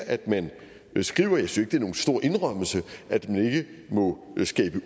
at man skriver jeg synes ikke det er nogen stor indrømmelse at man ikke må skabe